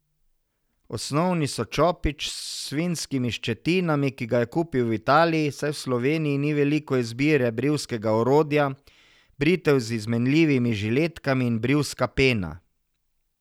Osnovni so čopič s svinjskimi ščetinami, ki ga je kupil v Italiji, saj v Sloveniji ni veliko izbire brivskega orodja, britev z izmenljivimi žiletkami in brivska pena.